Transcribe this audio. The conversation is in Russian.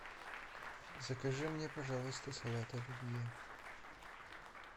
закажи мне пожалуйста салат оливье